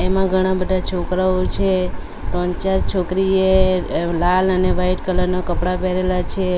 આમા ઘણા બધા છોકરાઓ છે. ત્રણ ચાર છોકરી એ લાલ અને વાઈટ કલર ના કપડા પહેરેલા છે.